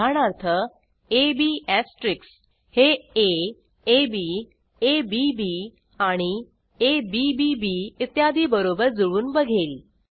उदाहरणार्थ अब एस्टेरिस्क हे aababbएबीबीबी इत्यादी बरोबर जुळवून बघेल